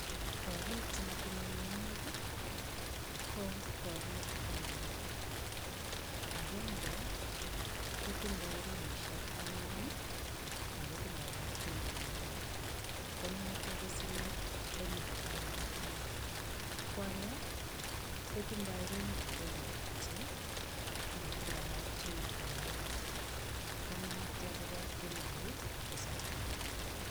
Korik che matinye meng'ik ko korik aeng agenge kotindo ruishek oeng ago tindo kapchoo en orit, konoto ko siling elibu taman ak mut. Ko age kotindo rumit agenge kityo ago tindo kapchooit en orit konoto kobo elibu tisab.